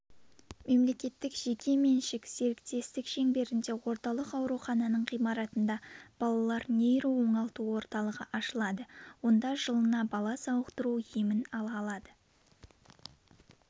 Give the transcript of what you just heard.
мемлекеттік жеке меншік серіктестік шеңберінде орталық аурухананың ғимаратында балалар нейро оңалту орталығы ашылады онда жылына бала сауықтыру емін ала алады